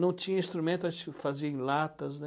Não tinha instrumento, a gente fazia em latas, né?